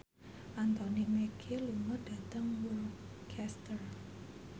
Anthony Mackie lunga dhateng Worcester